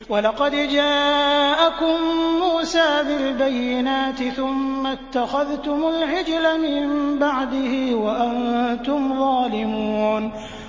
۞ وَلَقَدْ جَاءَكُم مُّوسَىٰ بِالْبَيِّنَاتِ ثُمَّ اتَّخَذْتُمُ الْعِجْلَ مِن بَعْدِهِ وَأَنتُمْ ظَالِمُونَ